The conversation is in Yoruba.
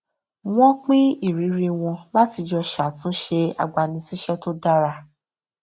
wọn pín ìrírí wọn láti jọ ṣàtúnṣe agbanisíṣẹ tó dára